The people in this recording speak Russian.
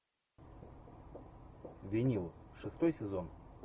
винил шестой сезон